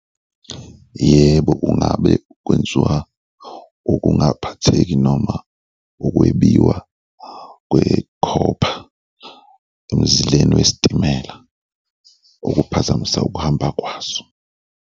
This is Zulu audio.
Yebo, kungabe kwenziwa ukungaphatheki noma ukwebiwa kwe-copper emzileni wesitimela okuphazamisa ukuhamba kwaso.